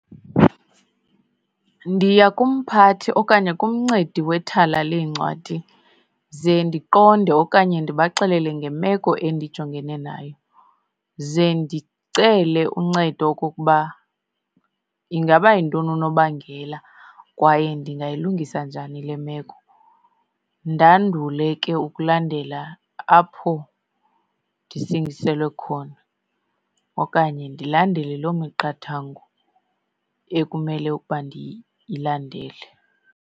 Ndiya kumphathi okanye kumncedi wethala leencwadi ze ndiqonde okanye ndibaxelele ngemeko endijongene nayo. Ze ndicele uncedo okokuba ingaba yintoni unobangela kwaye ndingayilungisa njani le meko. Ndandule ke ukulandela apho ndisingiselwe khona okanye ndilandele loo miqathango ekumele ukuba ndiyilandele.